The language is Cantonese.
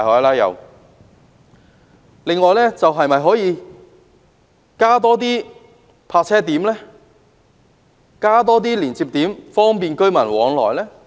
此外，政府可否增加泊車點及連接點，以方便市民往來？